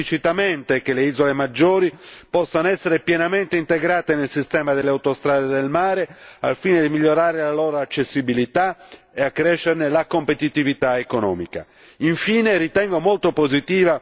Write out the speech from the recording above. Per questo motivo la relazione chiede esplicitamente che le isole maggiori possano essere pienamente integrate nel sistema delle autostrade del mare al fine di migliorare la loro accessibilità e accrescerne la competitività economica.